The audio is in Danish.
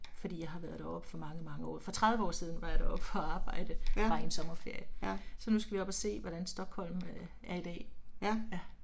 Fordi jeg har været deroppe for mange mange år for 30 år siden var jeg deroppe for at arbejde, bare i en sommerferie, så nu skal vi op og se hvordan Stockholm er i dag. Ja